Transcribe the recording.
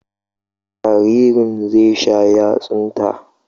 Jaririn zai sha yatsunta.